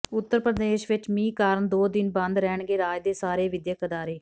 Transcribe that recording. ਉੱਤਰ ਪ੍ਰਦੇਸ਼ ਵਿੱਚ ਮੀਂਹ ਕਾਰਨ ਦੋ ਦਿਨ ਬੰਦ ਰਹਿਣਗੇ ਰਾਜ ਦੇ ਸਾਰੇ ਵਿਦਿਅਕ ਅਦਾਰੇ